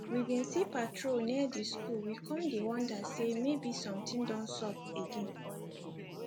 we bin see patrol near di skul we kon dey wonder sey maybe somtin don sup again